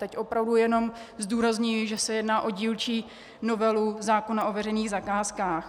Teď opravdu jenom zdůrazňuji, že se jedná o dílčí novelu zákona o veřejných zakázkách.